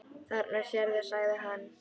Þarna sérðu, sagði hann.